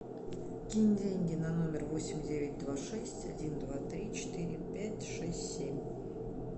кинь деньги на номер восемь девять два шесть один два три четыре пять шесть семь